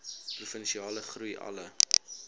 provinsiale groei alle